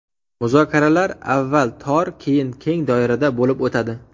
Muzokaralar avval tor, keyin keng doirada bo‘lib o‘tadi.